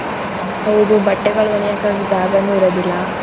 ಹೌದು ಬಟ್ಟೆಗಳ್ ಒಣಿಹಾಕಾಕ್ ಜಾಗನೂ ಇರದಿಲ್ಲ.